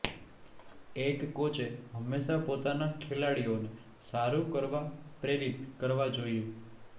એક કોચે હંમેશા પોતાના ખેલાડીઓને સારું કરવા પ્રેરિત કરવા જોઇએ